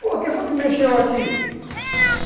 Pô, quem foi que mexeu aqui?